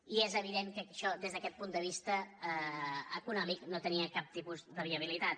i és evident que això des d’aquest punt de vista econòmic no tenia cap tipus de viabilitat